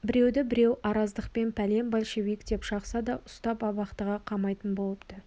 біреуді біреу араздықпен пәлен большевик деп шақса да ұстап абақтыға қамайтын болыпты